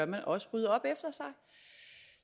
man også rydde op efter sig